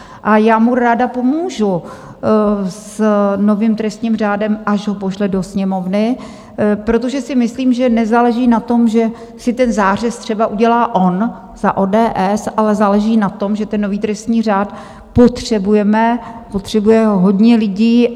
A já mu ráda pomůžu s novým trestním řádem, až ho pošle do Sněmovny, protože si myslím, že nezáleží na tom, že si ten zářez třeba udělá on za ODS, ale záleží na tom, že ten nový trestní řád potřebujeme, potřebuje ho hodně lidí.